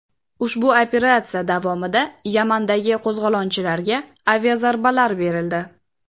Ushbu operatsiya davomida Yamandagi qo‘zg‘olonchilarga aviazarbalar berildi.